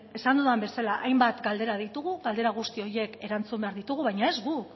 esan dudan bezala hainbat galdera ditugu galdera guzti horiek erantzun behar ditugu baina ez guk